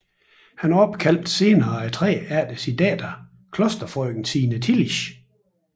Han opkaldte senere træet efter sin datter klosterfrøken Signe Tillisch